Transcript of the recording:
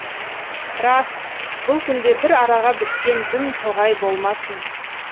рас бұл күнде бір араға біткен дүм тоғай болмасын